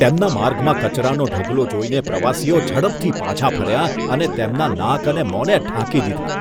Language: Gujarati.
તેમના માર્ગમાં કચરાનો ઢગલો જોઈને પ્રવાસીઓ ઝડપથી પાછા ફર્યા અને તેમના નાક અને મોંને ઢાંકી દીધાં.